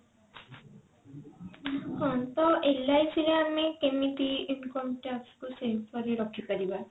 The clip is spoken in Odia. ହଁ ତ LIC ରେ ଆମେ କେମିତି income tax କୁ save କରି ରଖିପାରିବା?